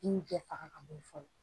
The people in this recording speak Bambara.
I bi bɛɛ faga ka bo ye fɔlɔ